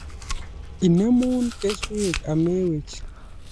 Inemu keswek amewech